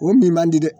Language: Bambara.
O min man di dɛ